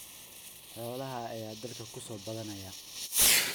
Xoolaha ayaa dalka ku soo badanaya.